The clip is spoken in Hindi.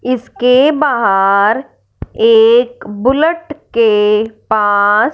इसके बाहर एक बुलेट के पास--